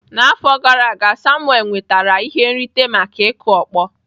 N'afọ gara aga Samuel nwetara ihe nrite maka ịkụ ọkpọ.